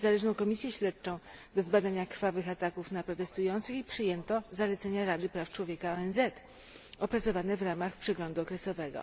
niezależną komisję śledczą do zbadania krwawych ataków na protestujących i przyjęto zalecenia Rady Praw Człowieka ONZ opracowane w ramach przeglądu okresowego.